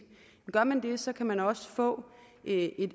så kan man også få et